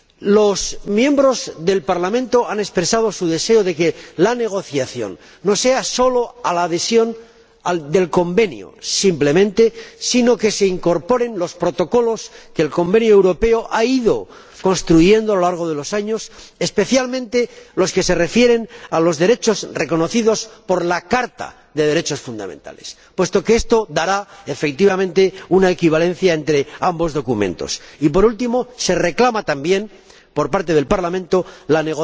Los miembros del Parlamento han expresado su deseo de que la negociación no se limite a la adhesión al Convenio Europeo de Derechos Humanos, sino que se incorporen los protocolos que dicho Convenio ha ido construyendo a lo largo de los años, especialmente los que se refieren a los derechos reconocidos por la Carta de Derechos Fundamentales, puesto que esto dará, efectivamente, una equivalencia entre ambos documentos. Y, por último, se reclama también por parte del Parlamento la